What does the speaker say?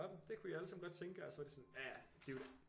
Nå det kunne I allesammen godt tænke jer og så var de sådan ja ja